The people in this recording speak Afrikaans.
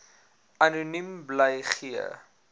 anoniem bly gee